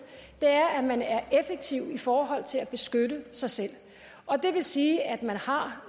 er at man er effektiv i forhold til at beskytte sig selv det vil sige at man har